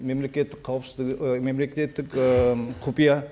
мемлекеттік қауіпсіздігі ы мемлекеттік ы құпия